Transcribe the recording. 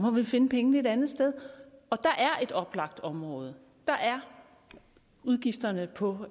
må vi finde pengene et andet sted og der er et oplagt område der er udgifterne på